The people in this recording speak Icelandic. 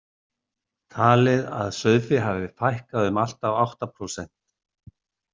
Talið að sauðfé hafi fækkað um allt að átta prósent.